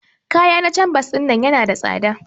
Ƙaya na canvas ɗinnan yana da tsada.